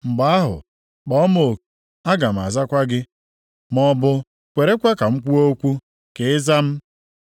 Mgbe ahụ, kpọọ m oku, aga m azakwa gị. Maọbụ, kwerekwa ka m kwuo okwu, ka ị zaa m.